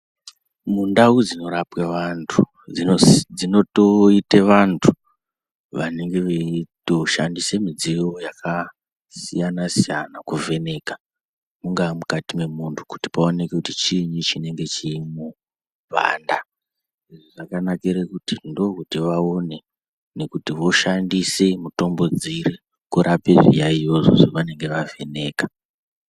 Mundau dzinorapwa antu dzinoite vantu vanonga veito shandisa mudziyo yakasiyana-siyana, kuvheka mungaa mukati memuntu kuti paoneke kuti chiinyi chinenge chiimwo kuwanda. Izvi zvakanakira kuti ndokuti vaone nekuti voshandise mitombo dziri kurape zviyaiyozvo zvavanenge vavheneka.